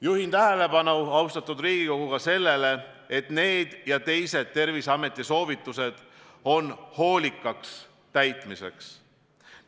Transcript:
Juhin tähelepanu, austatud Riigikogu, ka sellele, et need ja teised Terviseameti soovitused on hoolikaks täitmiseks.